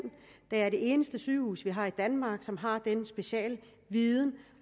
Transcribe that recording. da det er det eneste sygehus vi har i danmark som har denne specialviden